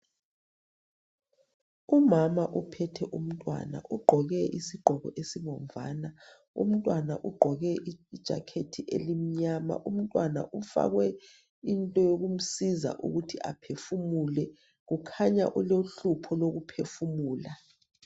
Umama uphethe umntwana, ugqoke isigqoko esibomvana. Umntwana ugqoke i"jacket" elimnyama. Umntwana ufakwe into yokumsiza ukuthi aphefumule. Kukhanya ulohlupho lokuphefumula.